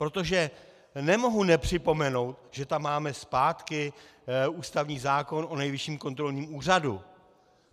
Protože nemohu nepřipomenout, že tam máme zpátky ústavní zákon o Nejvyšším kontrolním úřadu.